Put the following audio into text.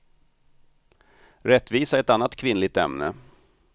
Rättvisa är ett annat kvinnligt ämne.